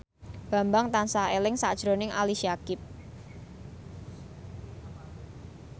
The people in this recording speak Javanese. Bambang tansah eling sakjroning Ali Syakieb